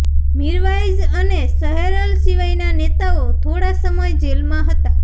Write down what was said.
મિરવાઇઝ અને સેહરલ સિવાયના નેતાઓ થોડો સમય જેલમાં હતા